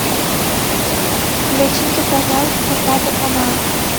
включите пожалуйста пятый канал